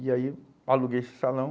E aí aluguei esse salão.